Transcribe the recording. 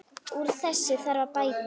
Úr þessu þarf að bæta!